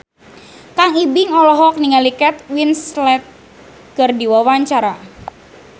Kang Ibing olohok ningali Kate Winslet keur diwawancara